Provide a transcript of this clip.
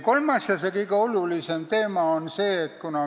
Kolmas ja kõige olulisem teema on selline.